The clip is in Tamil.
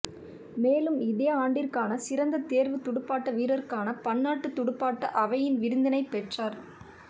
மேலும் இதே ஆண்டிற்கான சிறந்த தேர்வுத் துடுப்பாட்ட வீரருக்கான பன்னாட்டுத் துடுப்பாட்ட அவையின் விருதினைப் பெற்றார்